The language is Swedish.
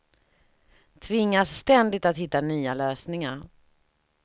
Tvingas ständigt att hitta nya lösningar.